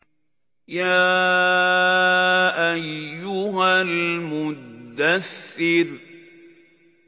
يَا أَيُّهَا الْمُدَّثِّرُ